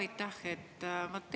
Aitäh!